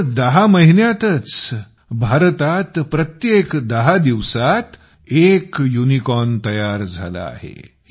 केवळ दहा महिन्यातच भारतात प्रत्येक दहा दिवसात एक युनिकॉर्न तयार झाला आहे